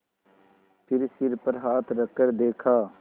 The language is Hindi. फिर सिर पर हाथ रखकर देखा